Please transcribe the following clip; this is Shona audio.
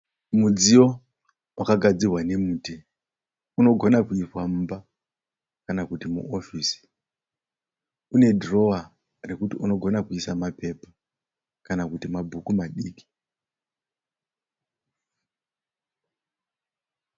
Mudziyo wakagadzirwa nemuti unogona kuiswa mumba kana kuti muofisi. Unedhirowa rekuti unogona kuisa mapepa kana kuti mabhuku madiki.